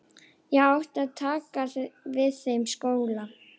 Ég átti að taka við þeim skóla.